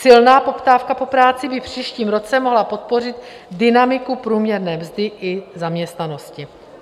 Silná poptávka po práci by v příštím roce mohla podpořit dynamiku průměrně mzdy i zaměstnanosti.